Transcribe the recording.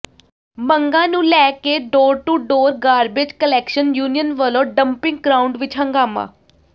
ਮੰਗਾਂ ਨੂੰ ਲੈ ਕੇ door to door garbage collection union ਵੱਲੋਂ ਡਪਿੰਗ ਗ੍ਰਾਉਂਡ ਵਿੱਚ ਹੰਗਾਮਾ